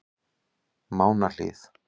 Mánahlíð